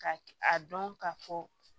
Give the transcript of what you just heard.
Ka a dɔn ka fɔ